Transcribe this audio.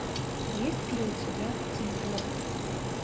есть ли у тебя тим бертон